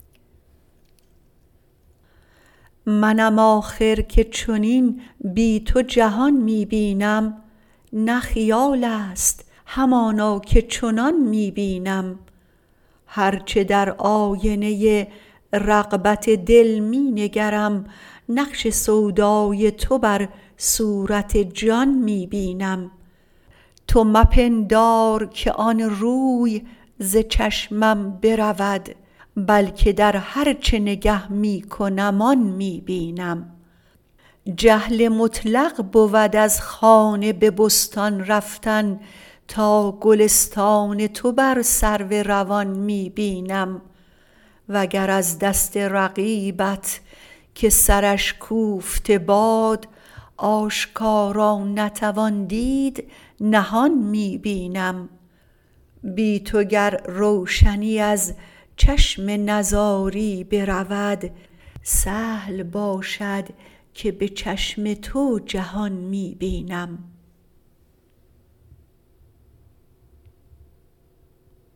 منم آخر که چنین بی تو جهان می بینم نه خیال است همانا که چنان می بینم هرچه در آینه ی رغبت دل می نگرم نقش سودای تو بر صورت جان می بینم تو مپندار که آن روی ز چشمم برود بل که در هر چه نگه می کنم آن می بینم جهل مطلق بود از خانه به بستان رفتن تا گلستان تو بر سرو روان می بینم وگر از دست رقیبت که سرش کوفته باد آشکارا نتوان دید نهان می بینم بی تو گر روشنی از چشم نزاری برود سهل باشد که به چشم تو جهان می بینم